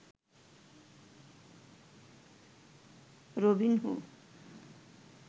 Robinho